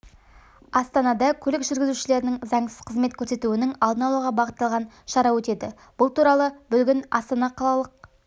астанада көлік жүргізушілерінің заңсыз қызмет көрсетуінің алдын алуға бағытталған шара өтеді бұл туралы бүгін астана қалалық